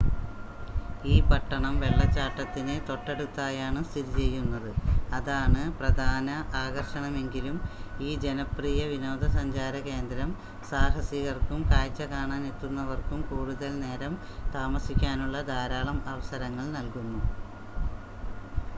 ഈ പട്ടണം വെള്ളച്ചാട്ടത്തിന് തൊട്ടടുത്തായാണ് സ്ഥിതിചെയ്യുന്നത് അതാണ് പ്രധാന ആകർഷണമെങ്കിലും ഈ ജനപ്രിയ വിനോദസഞ്ചാര കേന്ദ്രം സാഹസികർക്കും കാഴ്‌ച കാണാൻ എത്തുന്നവർക്കും കൂടുതൽ നേരം താമസിക്കാനുള്ള ധാരാളം അവസരങ്ങൾ നൽകുന്നു